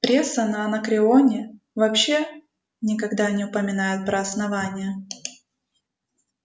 пресса на анакреоне вообще никогда не упоминает про основание